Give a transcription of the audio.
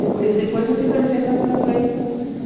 Depois eu fiz a licenciatura plena em música.